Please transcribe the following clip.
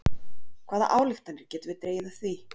Hvaða ályktanir getum við dregið af því?